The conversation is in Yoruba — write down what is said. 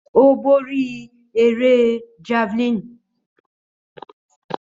Ó borí eré javelin.